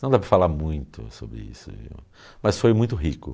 Então dá para falar muito sobre isso, viu, mas foi muito rico.